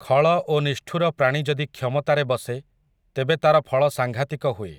ଖଳ ଓ ନିଷ୍ଠୁର ପ୍ରାଣୀ ଯଦି କ୍ଷମତାରେ ବସେ, ତେବେ ତା'ର ଫଳ ସାଂଘାତିକ ହୁଏ ।